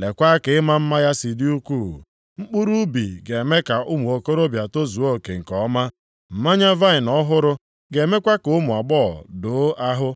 Leekwa ka ịma mma ya si dị ukwuu! Mkpụrụ ubi ga-eme ka ụmụ okorobịa tozuo oke nke ọma, mmanya vaịnị ọhụrụ ga-emekwa ka ụmụ agbọghọ doo ahụ.